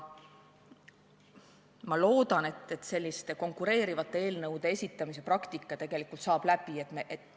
Ma loodan, et selliste konkureerivate eelnõude esitamise praktika saab tegelikult läbi.